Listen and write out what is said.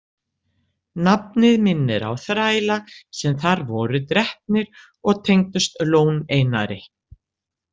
Nafnið minnir á þræla sem þar voru drepnir og tengdust Lón- Einari.